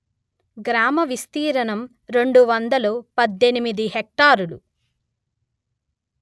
గ్రామ విస్తీర్ణం రెండు వందలు పధ్ధెనిమిది హెక్టారులు